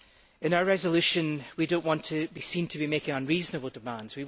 In our resolution, we do not want to be seen to be making unreasonable demands.